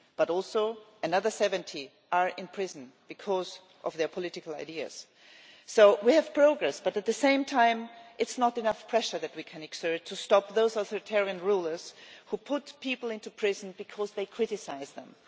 But also another 70 are in prison because of their political ideas. So we have progress, but at the same time there is not enough pressure that we can exert to stop those authoritarian rulers who put people into prison because they criticise them.